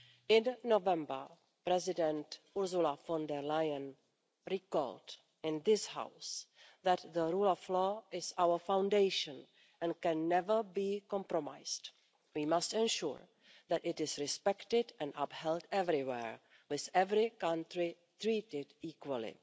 In November, President Ursula von der Leyen recalled in this House that the rule of law is our foundation and can never be compromised. We must ensure that it is respected and upheld everywhere, with every country treated equally.